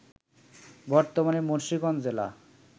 বর্তমানে মুন্সিগঞ্জ জেলা